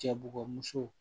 Cɛ bugɔ muso